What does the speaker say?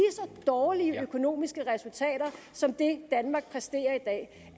så dårlige økonomiske resultater som det danmark præsterer i dag